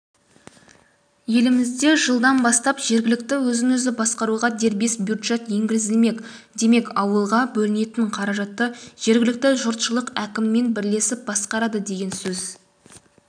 елімізде жылдан бастап жергілікті өзін-өзі басқаруға дербес бюджет енгізілмек демек ауылға бөлінетін қаражатты жергілікті жұртшылық әкіммен бірлесіп басқарады деген сөз